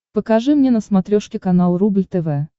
покажи мне на смотрешке канал рубль тв